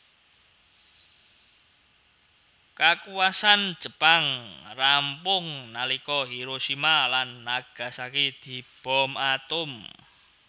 Kakuwasan Jepang rampung nalika Hiroshima lan Nagasaki dibom atom